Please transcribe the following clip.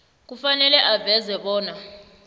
kufanele aveze bona